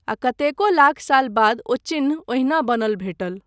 आ कतेको लाख साल बाद ओ चिह्न ओहिना बनल भेटल।